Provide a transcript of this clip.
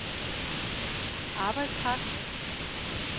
arbejdskraft